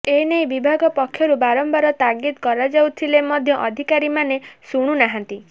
ଏନେଇ ବିଭାଗ ପକ୍ଷରୁ ବାରମ୍ବାର ତାଗିଦ୍ କରାଯାଇଥିଲେ ମଧ୍ୟ ଅଧିକାରୀମାନେ ଶୁଣୁନାହାନ୍ତି